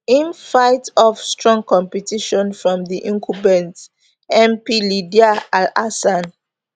im fight off strong competition from di incumbent mp lydia alhassan